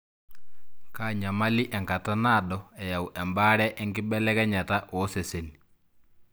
Kaa nyamali enkata nadoo eyau embare enkibelekenyata oseseni ?